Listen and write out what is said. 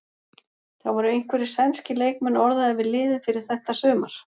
Það voru einhverjir sænskir leikmenn orðaðir við liðið fyrir þetta sumar?